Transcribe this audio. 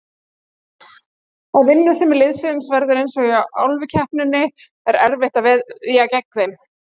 Ef vinnusemi liðsins verður eins og í Álfukeppninni er erfitt að veðja gegn þeim.